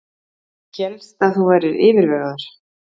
Hélst að þú værir yfirvegaður.